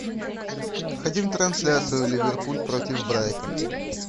хотим трансляцию ливерпуль против брайтон